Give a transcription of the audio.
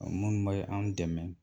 O mun be an dɛmɛ